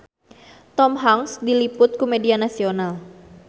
Tom Hanks diliput ku media nasional